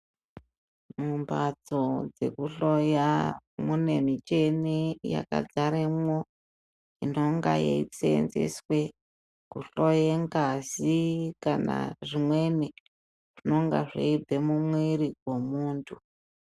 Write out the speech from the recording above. Mumbatso dzekuhloya mune micheni yakadzaremwo inonga yeisenzeswe kuhloye ngazi, kana zvimweni zvinonge zveibva mumwiri vemuntu.